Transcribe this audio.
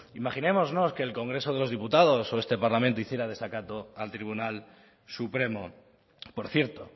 imaginemos no que el congreso de los diputados o este parlamento hiciera desacato al tribunal supremo por cierto